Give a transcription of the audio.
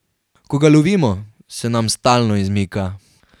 Ko ga lovimo, se nam stalno izmika.